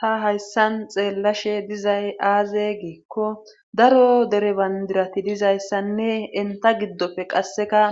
Ta hayssan xeellashe dizay aaze giikko daro dere bandirati dizayssanne enta giddofe qasseka